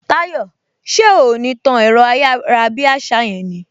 Táyò, ṣé o ò ní tán ẹ̀rọ ayárabíàṣá yẹn ni!